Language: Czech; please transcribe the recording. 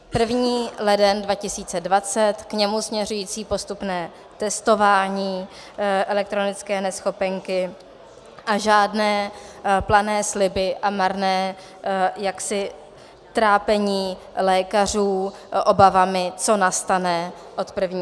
První leden 2020, k němu směřující postupné testování elektronické neschopenky a žádné plané sliby a marné trápení lékařů obavami, co nastane od 1. července.